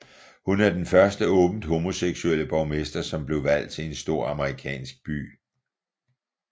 Hun er den første åbent homoseksuelle borgmester som blev valgt til en stor amerikansk by